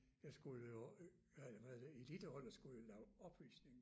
Jeg skulle jo øh hvad heddet det eliteholdet skulle jo lave opvisning